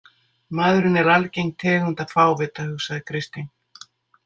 Maðurinn er algeng tegund af fávita, hugsaði Kristín.